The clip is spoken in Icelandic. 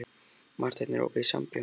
Marteinn, er opið í Sambíóunum?